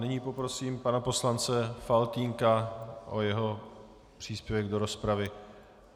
Nyní poprosím pana poslance Faltýnka o jeho příspěvek do rozpravy.